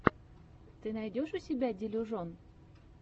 ты найдешь у себя делюжон